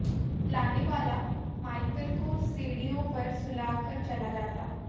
लाने वाला मायकल को सीढ़ियों पर सुलाकर चला जाता